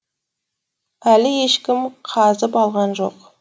әлі ешкім қазып алған жоқ